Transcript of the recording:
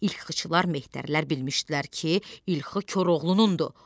İlxıçılar, mehtərlər bilmişdilər ki, ilxı Koroğlunundur.